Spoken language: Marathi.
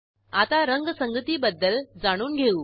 आता रंगसंगतीबद्दल जाणून घेऊ